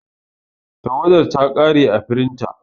Tawada ya kare ã firinta.